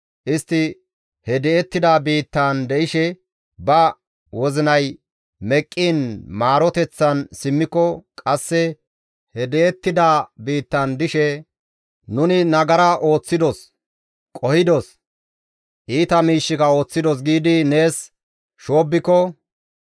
istti he di7ettida biittaan de7ishe ba wozinay meqqiin maaroteththan simmiko, qasse he di7ettida biittan dishe, ‹Nuni nagara ooththidos; qohidos, iita miishshika ooththidos› giidi nees shoobbiko,